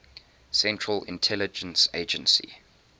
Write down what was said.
central intelligence agency